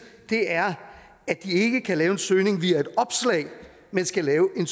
er at de ikke kan lave en søgning via et opslag men skal lave en